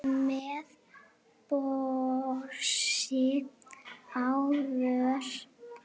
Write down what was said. með brosi á vör.